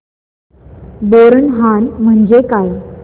बोरनहाण म्हणजे काय